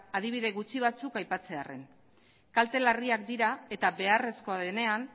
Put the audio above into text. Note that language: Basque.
adibide gutxi batzuk aipatzearren kalte larriak dira eta beharrezkoa denean